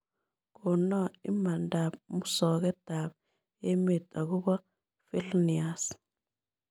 Konoo imandap musogetap emet ago bo vilnius